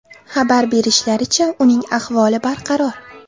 Xabar berishlaricha, uning ahvoli barqaror.